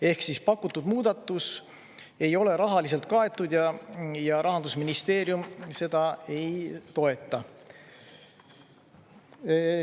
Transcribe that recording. Ehk siis pakutud muudatus ei ole rahaliselt kaetud ja Rahandusministeerium seda ei toeta.